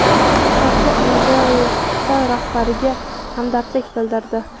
Shavkat Mirziyoyev Xitoy rahbariga hamdardlik bildirdi.